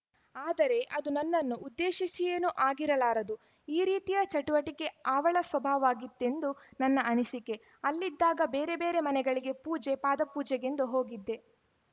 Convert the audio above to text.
ಆದರೆ ಅದು ನನ್ನನ್ನು ಉದ್ದೇಶಿಸಿಯೇನೂ ಆಗಿರಲಾರದು ಆ ರೀತಿಯ ಚಟುವಟಿಕೆ ಆವಳ ಸ್ವಭಾವವಾಗಿತ್ತೆಂದು ನನ್ನ ಅನಿಸಿಕೆ ಅಲ್ಲಿದ್ದಾಗ ಬೇರೆಬೇರೆ ಮನೆಗಳಿಗೆ ಪೂಜೆಪಾದಪೂಜೆಗೆಂದೂ ಹೋಗಿದ್ದೆ